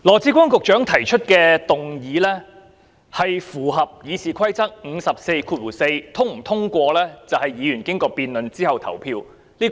主席，羅致光局長提出的議案符合《議事規則》第544條；是否通過，則由議員經過辯論之後投票決定。